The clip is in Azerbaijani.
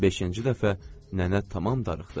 Beşinci dəfə nənə tamam darıxdı.